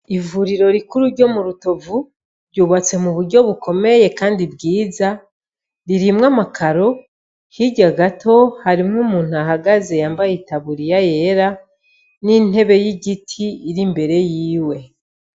Ivuriro rikuru ryo mu rutovu ryubatse mu buryo bukomeye kandi bwiza irimwo ama karo, hirya gato harimwo umuntu ahagaze yambaye itaburiya yera n'intebe y'igiti ihagaze imbere yiwe.